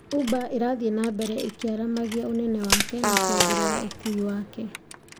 uber ĩrathii na mbere ĩkiaramagia ũnene wake na kũongerera ũkui wake